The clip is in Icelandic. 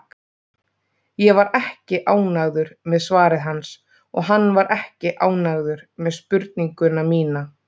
Ég var ekki ánægður með svarið hans, og hann var ekki ánægður með spurninguna mína.